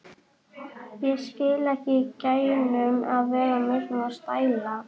Ég skil ekki í gæjanum að vera með svona stæla!